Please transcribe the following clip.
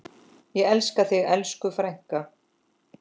Ég elska þig, elsku frænka.